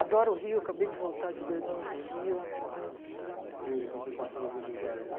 Adoro o Rio, acabei de voltar de dois anos do Rio, mas... E hoje, quando você passa na Buenos Aires?